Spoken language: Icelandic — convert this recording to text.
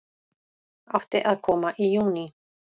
Átti að koma í júní